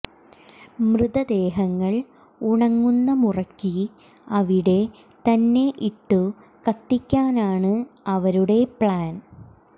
മൃതദേഹങ്ങൾ ഉണങ്ങുന്ന മുറയ്ക്ക് അവിടെ തന്നെ ഇട്ടു കത്തിക്കാനാണ് അവരുടെ പ്ലാൻ